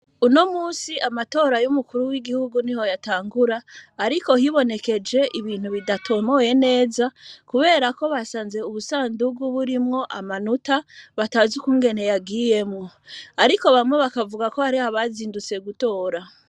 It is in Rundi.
Uno musi amatora y'umukuru w'igihugu ni ho yatangura, ariko hibonekeje ibintu bidatomoye neza, kubera ko basanze ubusandugu burimwo amanuta batazi ukungene yagiyemwo, ariko bamwe bakavuga ko hariho bazindutse gutora.